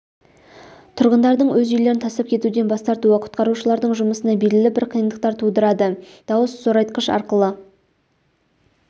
тұрғындардың өз үйлерін тастап кетуден бас тартуы құтқарушылардың жұмысына белгілі бір қиындықтар тудырады дауыс зорайтқыш арқылы